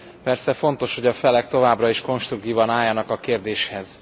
Persze fontos, hogy a felek továbbra is konstruktívan álljanak a kérdéshez.